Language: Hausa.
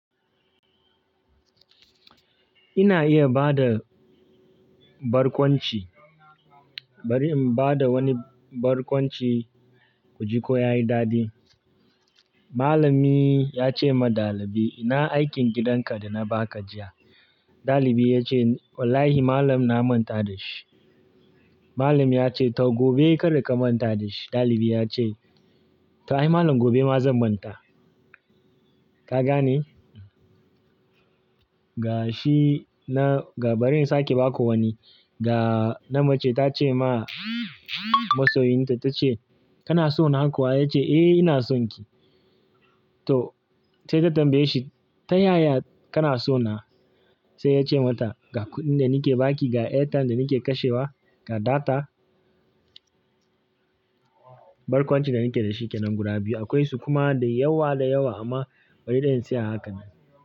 Ina iya bada barkwanci. Bari in bada wani barkwanci, ku ji ko yayi dadi. Malami ya ce ma ɗalibi, "ina aikin gidanka da na baka jiya?" ɗalibin ya ce, "Wallahi malam na manta da shi." Malam ya ce, "to gobe kada ka manta da shi." ɗalibin ya ce, "to ai malam gobe ma zan manta." Ka gane? Ga shi nan ga bari in sake baku wani. Ga na mace ta ce ma masoyinta ta ce, "Kana so na kuwa?" Ya ce, "Eh ina son ki." To sai ta tambaye shi, "Ta yaya kana so na?" Sai ya ce mata, "Ga kuɗin da nike baki, ga airtime da nike kashewa, ga data." Barkwancin da nike dashi kenan guda biyu. Akwai su kuma da yawa da yawa amma bari dan sai a haka.